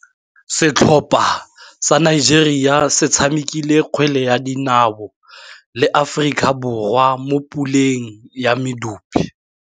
Setlhopha sa Nigeria se tshamekile kgwele ya dinaô le Aforika Borwa mo puleng ya medupe.